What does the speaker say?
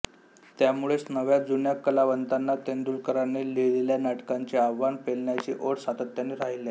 त्यामुळेच नव्याजुन्या कलावंतांना तेंडुलकरांनी लिहिलेल्या नाटकांचे आव्हान पेलण्याची ओढ सातत्याने राहिली